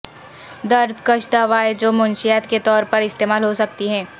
درد کش دوائیں جو منشیات کے طور پر استعمال ہو سکتی ہیں